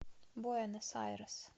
буэнос айрес